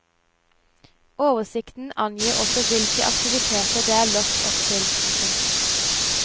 Oversikten angir også hvilke aktiviteter det er lagt opp til. punktum